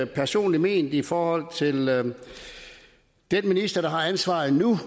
personligt ment i forhold til den minister der har ansvaret nu